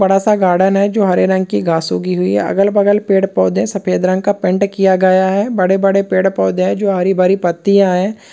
बड़ा सा गार्डन है जो हरे रंग की घास उगी हुई है अगल बगल पेड़ पौधे सफेद रंग का पेंट किया गया है बड़े बड़े पेड़ पौधे है जो हरी भरी पत्तियां हैं।